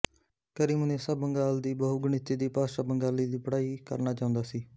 ਕਰੀਮੁੰਨੇੇਸਾ ਬੰਗਾਲ ਦੀ ਬਹੁਗਿਣਤੀ ਦੀ ਭਾਸ਼ਾ ਬੰਗਾਲੀ ਦੀ ਪੜ੍ਹਾਈ ਕਰਨਾ ਚਾਹੁੰਦੀ ਸੀ